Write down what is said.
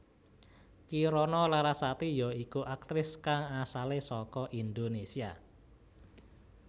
Kirana Larasati ya iku aktris kang asalé saka Indonésia